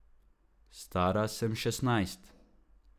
Stara sem šestnajst.